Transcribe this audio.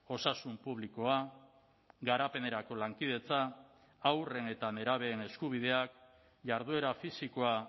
osasun publikoa garapenerako lankidetza haurren eta nerabeen eskubideak jarduera fisikoa